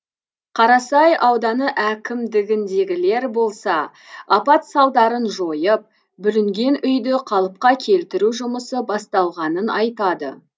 қарасай ауданы әкімдігіндегілер болса апат салдарын жойып бүлінген үйді қалыпқа келтіру жұмысы басталғанын айтады